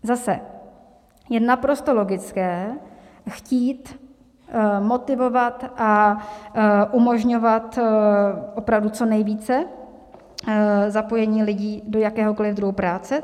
Zase je naprosto logické chtít motivovat a umožňovat opravdu co nejvíce zapojení lidí do jakéhokoliv druhu práce.